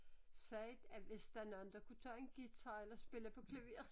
Sagt at hvis der nogen der kunne tage en guitar eller spille på klaver